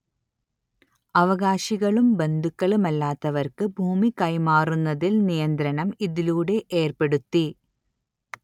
അവകാശികളും ബന്ധുക്കളുമല്ലാത്തവർക്ക് ഭൂമി കൈമാറുന്നതിൽ നിയന്ത്രണം ഇതിലൂടെ ഏർപ്പെടുത്തി